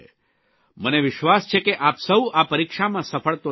મને વિશ્વાસ છે કે આપ સૌ આ પરીક્ષામાં સફળ તો થશો જ